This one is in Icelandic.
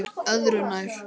Öðru nær.